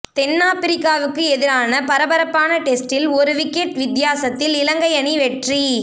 தென்ஆப்பிரிக்காவுக்கு எதிரான பரபரப்பான டெஸ்டில் ஒரு விக்கெட் வித்தியாசத்தில் இலங்கை அணி வெற்றி